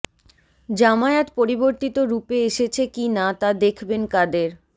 জামায়াত পরিবর্তিত রূপে এসেছে কি না তা দেখবেন কাদের